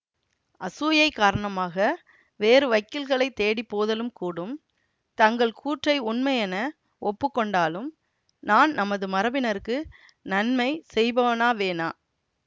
அசூயை காரணமாக வேறு வக்கீல்களைத் தேடி போதலும் கூடும் தங்கள் கூற்றை உண்மையென ஒப்பு கொண்டாலும் நான் நமது மரபினருக்கு நன்மை செய்பவனாவேனா